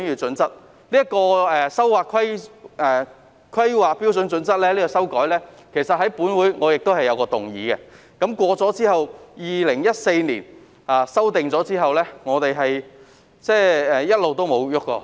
再者，關於修改《香港規劃標準與準則》，我在本會曾提出一項議案，議案通過後 ，2014 年曾作出修訂，此後便一直也再沒有修改。